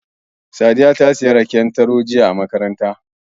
Sadiya ta sayi raken taro jiya a makaranta.